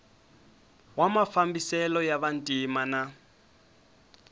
wa mafambiselo ya vantima na